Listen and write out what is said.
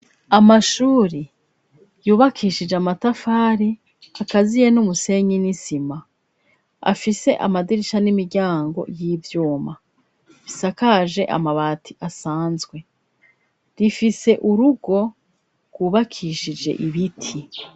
Amashure yubakishije amatafari akaziye n'umusenyi n'isima afise amadirisha n'imiryango y'ivyuma bisakaje amabati asanzwe rifise urugo rwubakishije ibiti.